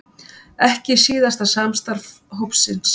Ekki síðasta samstarf hópsins